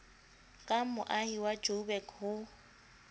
ka moahi wa joburg ho